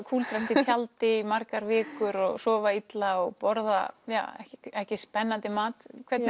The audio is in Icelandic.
kúldrast inn í tjaldi í margar vikur og sofa illa og borða ja ekki ekki spennandi mat hvernig